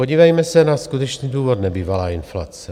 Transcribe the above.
Podívejme se na skutečný důvod nebývalé inflace.